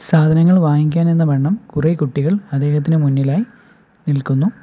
സാധനങ്ങൾ വാങ്ങിക്കാൻ എന്നവണ്ണം കുറെ കുട്ടികൾ അദ്ദേഹത്തിൻ്റ മുന്നിലായി നിൽക്കുന്നു.